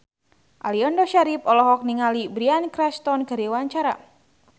Aliando Syarif olohok ningali Bryan Cranston keur diwawancara